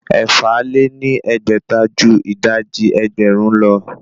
Ẹ̀fà lé ní ẹgbẹ́ta ju ìdajì ẹgbẹ́rún lọ